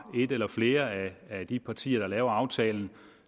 et eller flere af de partier der laver aftalen